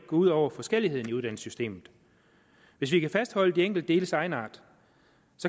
ud over forskelligheden i uddannelsessystemet hvis vi kan fastholde de enkelte deles egenart